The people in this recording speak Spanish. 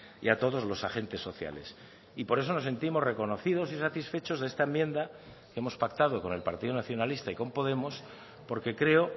y a todos los agentes sociales y por eso nos sentimos reconocidos y satisfechos de esta enmienda hemos pactado con el partido nacionalista y con podemos porque creo